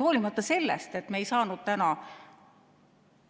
Hoolimata sellest, et me ei saanud täna